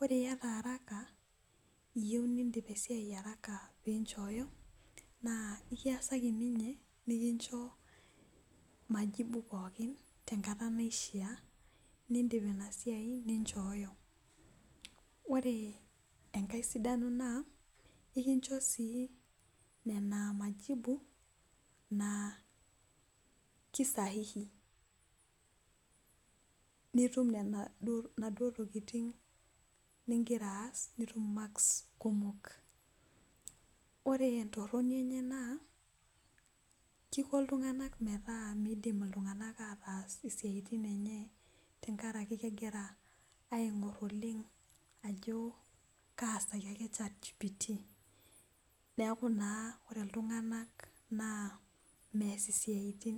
ore iyata araka iyieu nidip esiai araka pee inchoyo naa ekiyasaki ninye majibu pooki tenkata naishaa nidip inasiai nichooyo, ore engae sidano naa ekicho sii nena majibu naa kisahihi nitum inaduo tokitin nigira aaas nitum imaks kumok , ore entoroni enye naa kisho oltung'ani metaa midim iltung'anak ataas isiatin enye tenkaraki kegira aigor oleng ajo kaasaki ake chat gpt neeku naa ore iltung'anak naa mees isiatin.